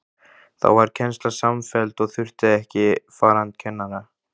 Þá varð kennsla samfelld og þurfti ekki farandkennara.